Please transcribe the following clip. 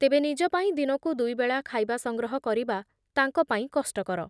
ତେବେ ନିଜ ପାଇଁ ଦିନକୁ ଦୁଇବେଳା ଖାଇବା ସଂଗ୍ରହ କରିବା ତାଙ୍କ ପାଇଁ କଷ୍ଟକର